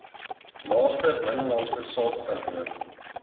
naaste binnelandse sakekantoor